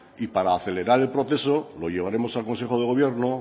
y para acelerar el proceso lo llevaremos el consejo de gobierno